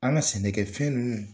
An ka sɛnɛkɛfɛn ninnu